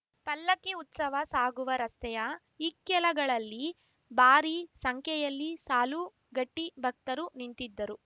ಪಲ್ಲಕ್ಕಿ ಉತ್ಸವ ಸಾಗುವ ರಸ್ತೆಯ ಇಕ್ಕೆಲಗಳಲ್ಲಿ ಭಾರಿ ಸಂಖ್ಯೆಯಲ್ಲಿ ಸಾಲು ಗಟ್ಟಿಭಕ್ತರು ನಿಂತಿದ್ದರು